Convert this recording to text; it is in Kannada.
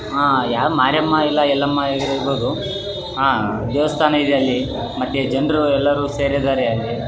ನಾನು ನೋಡಿದ್ದ ಫೋಟೋ ದ ಪ್ರಕಾರ ಈ ಫೋಟೋ ದಲ್ಲಿ--